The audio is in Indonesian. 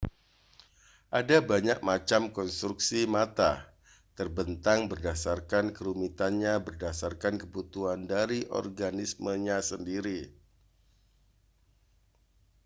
ada banyak macam konstruksi mata terbentang berdasarkan kerumitannya berdasarkan kebutuhan dari organismenya sendiri